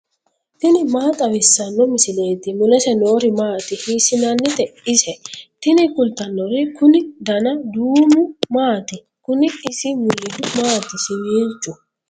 tini maa xawissanno misileeti ? mulese noori maati ? hiissinannite ise ? tini kultannori kuni dana duumu maati kuni isi mulihu maati siwiilchu